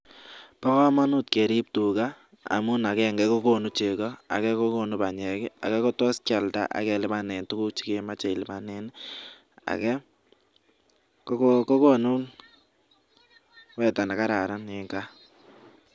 Bo kamanut keriip tuga amun agenge, kokonu chego, ake kokonu panyek, ake kotos kialda akelipane tuguk chekemeche ilipanen, ake kokonu rwetet ne kararan eng gaa.